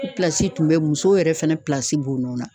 tun bɛ musow yɛrɛ fɛnɛ b'o nɔ na.